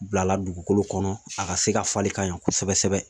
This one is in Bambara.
Bilala dugukolo kɔnɔ a ka se ka falen ka ɲa kosɛbɛ kosɛbɛ